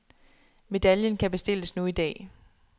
Medaljen kan bestilles nu i dag.